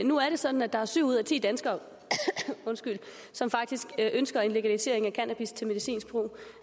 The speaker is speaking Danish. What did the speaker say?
nu er det sådan at der er syv ud af ti danskere som faktisk ønsker en legalisering af cannabis til medicinsk brug